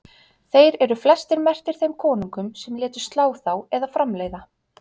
þeir eru flestir merktir þeim konungum sem létu slá þá eða framleiða